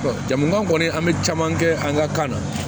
jamujan kɔni an bɛ caman kɛ an ka kan na